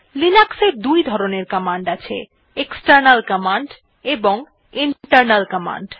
Linux দুই ধরনের command আছে160 এক্সটার্নাল কমান্ড এবং ইন্টারনাল কমান্ড